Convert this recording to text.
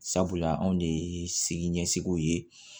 Sabula anw de ye sigi ɲɛsigiw ye